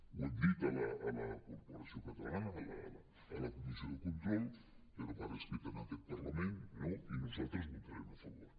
ho hem dit a la corporació catalana a la comissió de control però per escrit en aquest parlament no i nosaltres hi votarem a favor